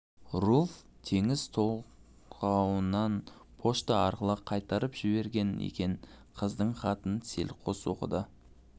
руфь теңіз толғауларын почта арқылы қайтарып жіберген екен қыздың хатын селқос оқыды